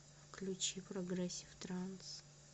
включи прогрессив транс